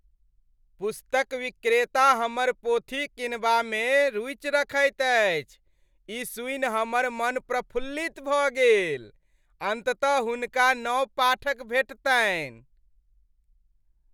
पुस्तक विक्रेता हमर पोथी किनबामे रूचि रखैत अछि, ई सुनि हमर मन प्रफुल्लित भऽ गेल। अन्ततः हुनका नव पाठक भेटतनि ।